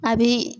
A bi